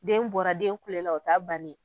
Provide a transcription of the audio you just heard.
Den bɔra, den kulela, o t'a bannen .